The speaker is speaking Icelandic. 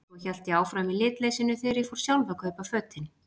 Svo hélt ég áfram í litleysinu þegar ég fór sjálf að kaupa fötin.